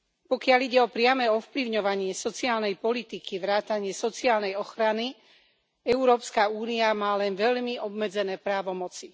Pokiaľ ide o priame ovplyvňovanie sociálnej politiky vrátane sociálnej ochrany, Európska únia má len veľmi obmedzené právomoci.